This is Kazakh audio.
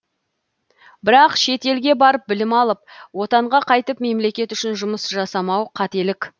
бірақ шет елге барып білім алып отанға қайтып мемлекет үшін жұмыс жасамау қателік